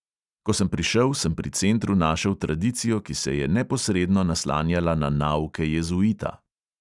Ko sem prišel, sem pri centru našel tradicijo, ki se je neposredno naslanjala na nauke jezuita.